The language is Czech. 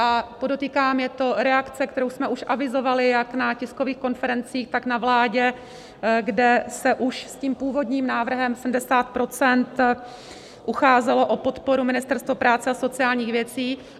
A podotýkám, je to reakce, kterou jsme už avizovali jak na tiskových konferencích, tak na vládě, kde se už s tím původním návrhem 70 % ucházelo o podporu Ministerstvo práce a sociálních věcí.